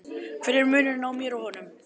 Hver er munurinn á mér og honum?